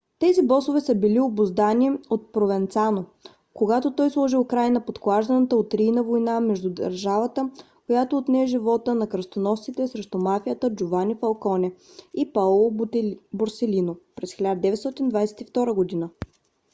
тези босове са били обуздани от провенцано когато той сложи край на подклажданата от рийна война срещу държавата която отне живота на кръстоносците срещу мафията джовани фалконе и паоло борселино през 1992 година.